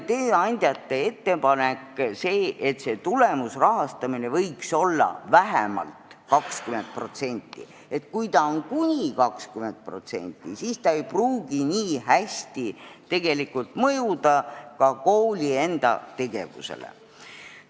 Tööandjate ettepanek oli selline, et see tulemusrahastamine võiks olla vähemalt 20%, sest kui ta on kuni 20%, siis ei pruugi see nii hästi mõjuda ka kooli enda tegevusele.